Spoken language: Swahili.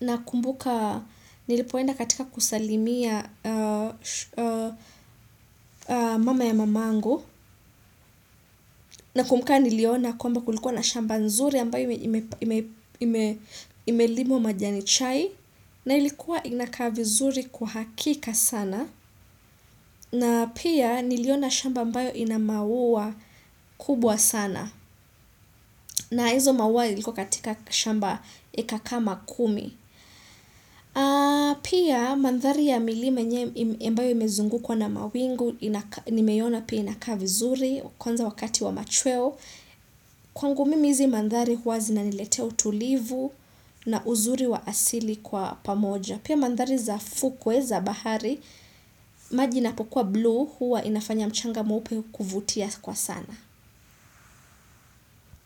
nakumbuka nilipoenda katika kusalimia mama ya mama yangu. Pia nakumbuka niliona kwamba kulikuwa shamba nzuri imelimwa majani chai. Na ilikuwa inakaa vizuri kwa hakika sana. Na pia niliona shamba ambayo ina maua kubwa sana. Na hizo maua iliko katika shamba eka kama kumi. Pia mandhari ya milima nye ambayo imezungukwa na mawingu, nimeiona pia inakaa vizuri, kwanza wakati wa machweo. Kwangu mimi hizi mandhari huwa zinaniletea utulivu na uzuri wa asili kwa pamoja. Pia mandhari za fukwe za bahari maji inapokua blue huwa inafanya mchanga mweupe kuvutia kwa sana.